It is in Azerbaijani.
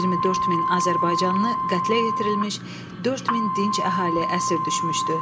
24 min azərbaycanlı qətlə yetirilmiş, 4 min dinc əhali əsir düşmüşdü.